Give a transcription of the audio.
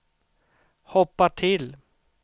hoppa till